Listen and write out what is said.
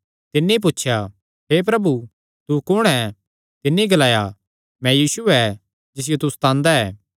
तिन्नी पुछया हे प्रभु तू कुण ऐ तिन्नी ग्लाया मैं यीशु ऐ जिसियो तू सतांदा ऐ